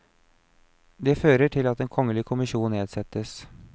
Det fører til at en kongelig kommisjon nedsettes.